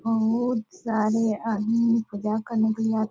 बहुत सारे आदमी पूजा करने के आ --